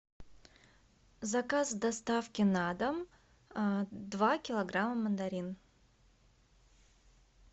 заказ доставки на дом два килограмма мандарин